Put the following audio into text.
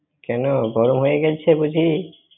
কেনো, গরম হয়ে গেছে বুজি?